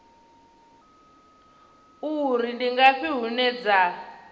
uri ndi ngafhi hune dza